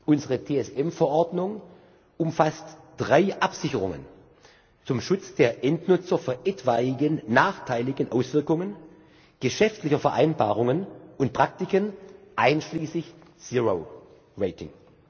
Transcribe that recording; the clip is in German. Unsere TSM Verordnung umfasst drei Absicherungen zum Schutz der Endnutzer vor etwaigen nachteiligen Auswirkungen geschäftlicher Vereinbarungen und Praktiken einschließlich Zero Rating